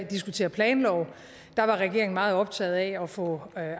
diskutere planlov var regeringen meget optaget af at få